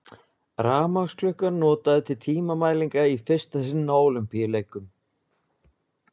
Rafmagnsklukkur notaðar til tímamælinga í fyrsta sinn á Ólympíuleikum.